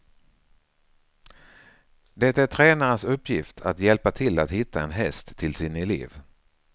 Det är tränarens uppgift att hjälpa till att hitta en häst till sin elev.